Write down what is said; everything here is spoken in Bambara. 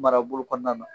Marabolo kɔnɔna na